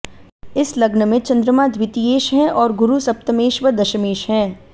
इस लग्न में चन्दमा द्वितीयेश है और गुरू सप्तमेश व दशमेश है